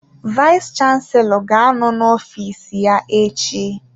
Vayis chansilọ ga-anọ n'ofiis ya echi.